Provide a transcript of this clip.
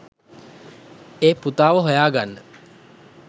ඒ පුතාව හොයාගන්න